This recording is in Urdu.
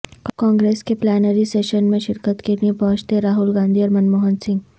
کانگریس کے پلینری سیشن میں شرکت کے لئے پہنچتے راہل گاندھی اور منموہن سنگھ